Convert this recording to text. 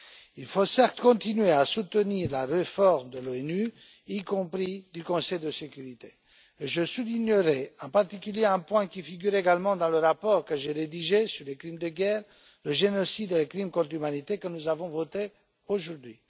Il faut, certes, continuer à soutenir la réforme de l'ONU, y compris du Conseil de sécurité. Je soulignerai, en particulier, un point qui figure également dans le rapport que j'ai rédigé sur les crimes de guerre, le génocide et les crimes contre l'humanité, que nous avons voté aujourd'hui.